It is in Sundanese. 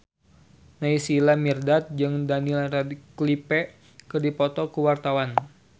Naysila Mirdad jeung Daniel Radcliffe keur dipoto ku wartawan